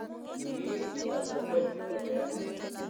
Kikiib chitab kokwenyi koteer.